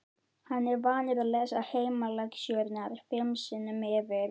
Hann er vanur að lesa heimalexíurnar fimm sinnum yfir.